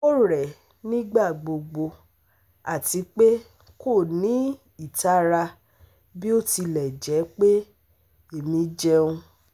O rẹ̀ ẹ́ nígbàgbogbo àti pé kò ní ìtara bí ó tilẹ̀ jẹ́ pé èmí ń jẹun